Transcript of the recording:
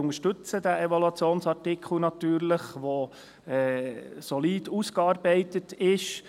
Wir unterstützen natürlich diesen Evaluationsartikel, der solid ausgearbeitet ist.